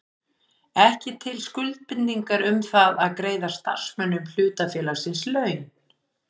ekki til skuldbindingar um það að greiða starfsmönnum hlutafélagsins laun.